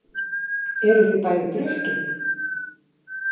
Eruð þið bæði drukkin?